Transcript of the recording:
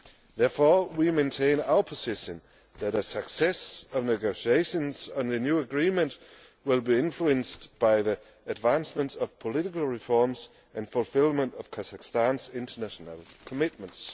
Therefore, we maintain our position that the success of negotiations on the new agreement will be influenced by the advancement of political reforms and fulfilment of Kazakhstan's international commitments.